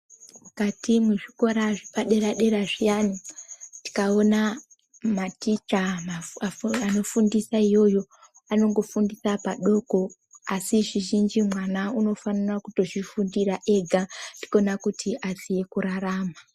Mukati mwezvikora zvepadera dera zviyani tikaona maticha anofundisa iyoyo anongofundisa padoko asi zvizhinji mwana unofanira kutozvifundira ega ndikona kuti aziye kurarama.